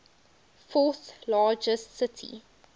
fourth largest city